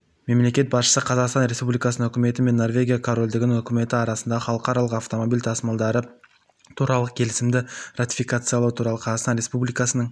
мемлекет басшысы қазақстан республикасының үкіметі мен норвегия корольдігінің үкіметі арасындағы халықаралық автомобиль тасымалдары туралы келісімді ратификациялау туралы қазақстан республикасының